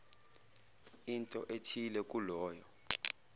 into ethile kuloyo